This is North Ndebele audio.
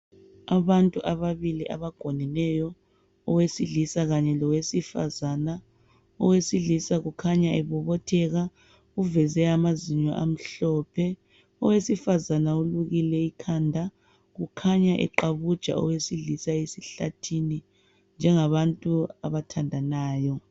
abantu ababili abagoneneyo owesilisa kanye lowesifazana owesilisa kukhanya ebobotheka uveze amazinyo amhlophe owesifazana ulukile ikhanda kukhanya eqabuja owesilisa esihlathini njengabantu abathandanayo